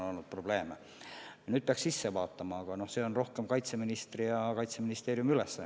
Neisse peaks sisse vaatama, aga see on rohkem kaitseministri ja Kaitseministeeriumi ülesanne.